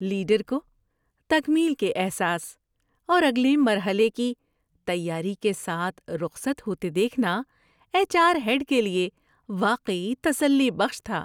Leader کو تکمیل کے احساس اور اگلے مرحلے کی تیاری کے ساتھ رخصت ہوتے دیکھنا ایچ آر ہیڈ کے لیے واقعی تسلی بخش تھا۔